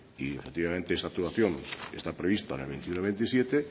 y efectivamente esa actuación está prevista en el veintiuno veintisiete